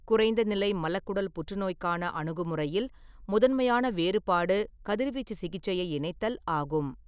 குறைந்த நிலை மலக்குடல் புற்றுநோய்க்கான அணுகுமுறையில் முதன்மையான வேறுபாடு கதிர்வீச்சு சிகிச்சையை இணைத்தல் ஆகும்.